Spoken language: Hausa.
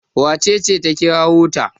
wacece ta kirawo ta?